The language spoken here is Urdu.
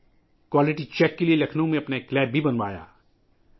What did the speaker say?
انہوں نے معیار کی جانچ کے لئے لکھنؤ میں اپنی لیب بھی بنوائی